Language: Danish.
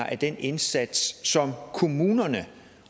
af den indsats som kommunerne